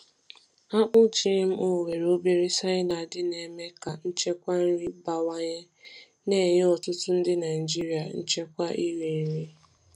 Akpụ GMO nwere obere cyanide na-eme ka nchekwa nri bawanye, na-enye ọtụtụ ndị Naijiria nchekwa iri nri.